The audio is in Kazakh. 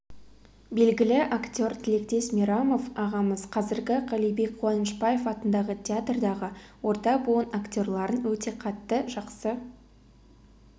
белгілі актер тілектес мейрамов ағамыз қазіргі қалибек қуанышбаев атындағы театрдағы орта буын актерларын өте қатты жақсы